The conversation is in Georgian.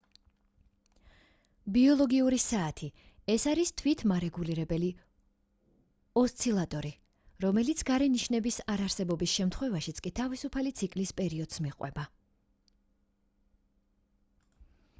ბიოლოგიური საათი ეს არის თვითმარეგულირებელი ოსცილატორი რომელიც გარე ნიშნების არარსებობის შემთხვევაშიც კი თავისუფალი ციკლის პერიოდს მიყვება